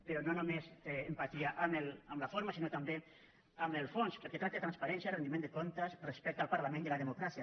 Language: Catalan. però no només empatia en la forma sinó també en el fons perquè tracta de transparència rendiment de comptes respecte al parlament i a la democràcia